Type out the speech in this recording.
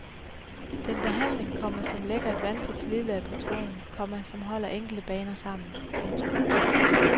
Det er en behandling, komma som lægger et vandtæt slidlag på tråden, komma som holder enkelte baner sammen. punktum